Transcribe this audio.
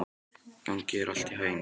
Gangi þér allt í haginn, Geirharður.